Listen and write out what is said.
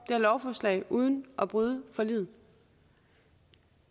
her lovforslag uden at bryde forliget